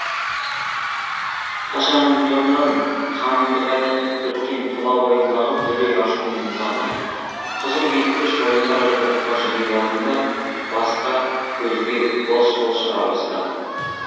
қашанғыдан қаныңды қайнатып біткен тұла бойыңдағы дүлей ашу мен ызаны қыжыл кекті шойын қара жұдырыққа жиып алдың да басқа көзге былш былш ұра бастадың